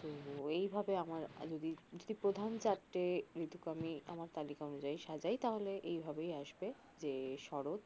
তো এই ভাবে আমার যদি যদি প্রধান চারটে যেটুকু আমি আমার তালিকা অনুযায়ী সাজাই তাহলে এইভাবেই আসবে যে শরত